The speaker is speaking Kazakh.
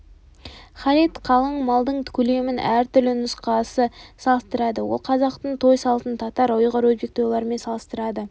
халид қалың малдың көлемін әр түрлі нұсқасы қарастырады ол қазақтың той салтын татар ұйғыр өзбек тойларымен салыстырады